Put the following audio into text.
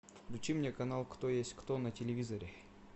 включи мне канал кто есть кто на телевизоре